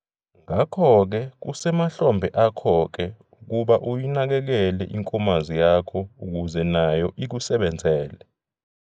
Ngakho-ke kusemahlombe akho-ke ukuba uyinakekele inkomazi yakho ukuze nayo ikusebenzele.